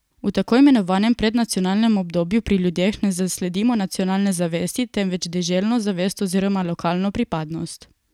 V tako imenovanem prednacionalnem obdobju pri ljudeh ne zasledimo nacionalne zavesti temveč deželno zavest oziroma lokalno pripadnost.